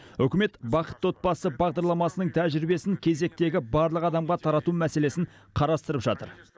үкімет бақытты отбасы бағдарламасының тәжірибесін кезектегі барлық адамға тарату мәселесін қарастырып жатыр